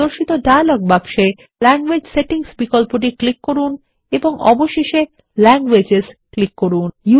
প্রদর্শিত ডায়লগ বাক্সে ল্যাঙ্গুয়েজ সেটিংস বিকল্পটি ক্লিক করুন এবং অবশেষে ল্যাংগুয়েজেস ক্লিক করুন